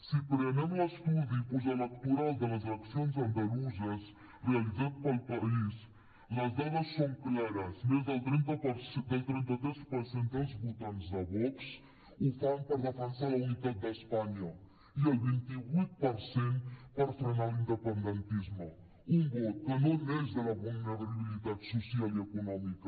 si prenem l’estudi postelectoral de les eleccions andaluses realitzat per el país les dades són clares més del trenta tres per cent dels votants de vox ho fan per defensar la unitat d’espanya i el vint vuit per cent per frenar l’independentisme un vot que no neix de la vulnerabilitat social i econòmica